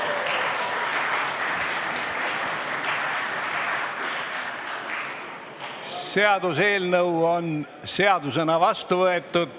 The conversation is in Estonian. Hääletustulemused Seaduseelnõu on seadusena vastu võetud.